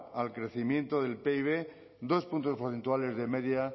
al crecimiento del pib dos puntos porcentuales de media